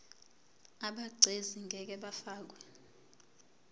abegcis ngeke bafakwa